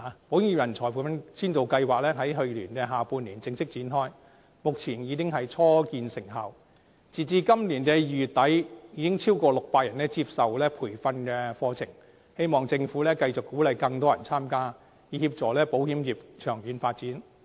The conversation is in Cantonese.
保險業人才培訓先導計劃在去年下半年正式展開，目前已初見成效，截至今年2月底，已有超過600人接受培訓課程，希望政府繼續鼓勵更多人參加，以協助保險業長遠發展。